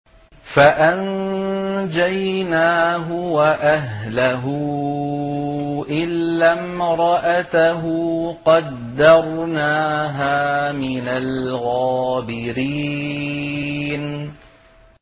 فَأَنجَيْنَاهُ وَأَهْلَهُ إِلَّا امْرَأَتَهُ قَدَّرْنَاهَا مِنَ الْغَابِرِينَ